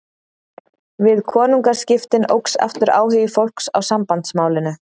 Við konungaskiptin óx aftur áhugi fólks á Sambandsmálinu.